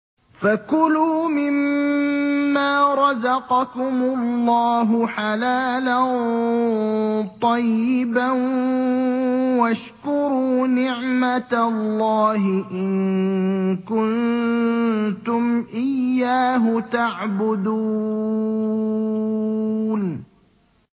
فَكُلُوا مِمَّا رَزَقَكُمُ اللَّهُ حَلَالًا طَيِّبًا وَاشْكُرُوا نِعْمَتَ اللَّهِ إِن كُنتُمْ إِيَّاهُ تَعْبُدُونَ